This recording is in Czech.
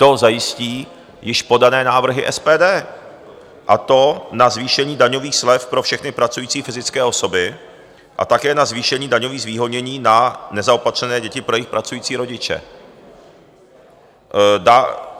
To zajistí již podané návrhy SPD, a to na zvýšení daňových slev pro všechny pracující fyzické osoby a také na zvýšení daňových zvýhodnění na nezaopatřené děti pro jejich pracující rodiče.